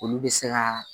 Olu bɛ se ka